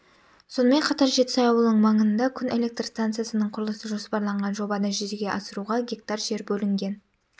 сонымен қатар жетісай ауылының маңында күн электр станциясының құрылысы жоспарланған жобаны жүзеге асыруға га жер бөлінген